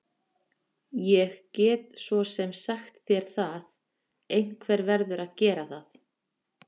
Ég get svo sem sagt þér það, einhver verður að gera það.